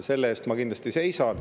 Selle eest ma kindlasti seisan.